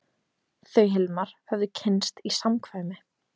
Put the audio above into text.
Þau Hilmar höfðu kynnst í samkvæmi.